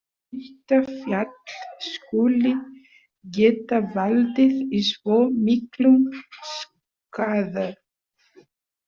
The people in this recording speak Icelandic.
Að eitt fjall skuli geta valdið svo miklum skaða